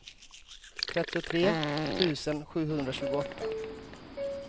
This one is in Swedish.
trettiotre tusen sjuhundratjugoåtta